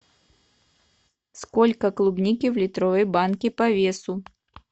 сколько клубники в литровой банке по весу